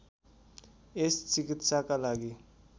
यस चिकित्साका लागि